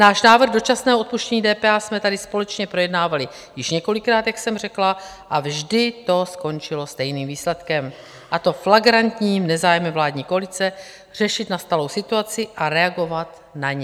Náš návrh dočasného odpuštění DPH jsme tady společně projednávali již několikrát, jak jsem řekla, a vždy do skončilo stejným výsledkem, a to flagrantním nezájmem vládní koalice řešit nastalou situaci a reagovat na ni.